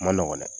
Ma nɔgɔn dɛ